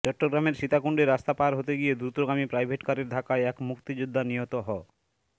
চট্টগ্রামের সীতাকুণ্ডে রাস্তা পার হতে গিয়ে দ্রুতগামী প্রাইভেটকারের ধাক্কায় এক মুক্তিযোদ্ধা নিহত হ